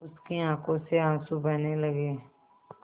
उसकी आँखों से आँसू बहने लगे